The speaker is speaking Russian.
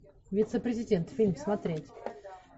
вице президент фильм смотреть